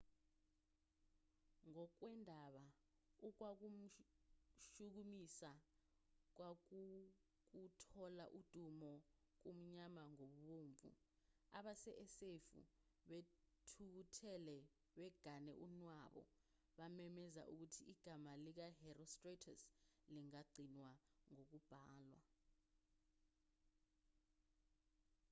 ngokwendaba okwakumshukumisa kwakuwukuthola udumo kumnyama kubomvu abase-efesu bethukuthele begane unwabu bamemezela ukuthi igama likaherostratus lingagcinwa ngokubhalwa